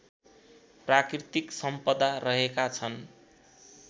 प्राकृतिक सम्पदा रहेका छन्